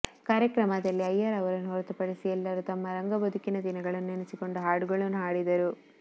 ಕಾರ್ಯಕ್ರಮದಲ್ಲಿ ಅಯ್ಯರ್ ಅವರನ್ನು ಹೊರತು ಪಡಿಸಿ ಎಲ್ಲರೂ ತಮ್ಮ ರಂಗಬದುಕಿನ ದಿನಗಳನ್ನು ನೆನೆಸಿಕೊಂಡು ಹಾಡುಗಳನ್ನು ಹಾಡಿದರು